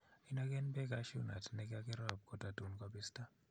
Inagen beek Cashew nut nekakirob kototun kobista